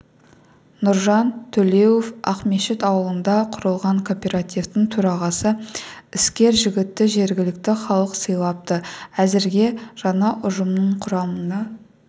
нұржан төлеуов ақмешіт ауылында құрылған кооперативтің төрағасы іскер жігітті жергілікті халық сайлапты әзірге жаңа ұжымның құрамына